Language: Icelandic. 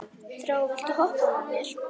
Þrá, viltu hoppa með mér?